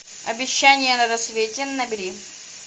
обещание на рассвете набери